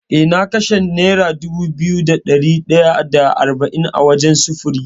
Eh na kashe nera dubu biyu da ɗari ɗaya da arba’in wajen sufuri.